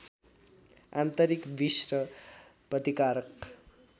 आन्तरिक विष र प्रतिकारक